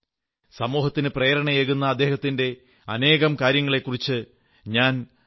സമൂഹത്തിന് പ്രേരണയേകുന്ന അദ്ദേഹത്തിന്റെ അനേകം കാര്യങ്ങളെക്കുറിച്ച് ഞാൻ thebetterindia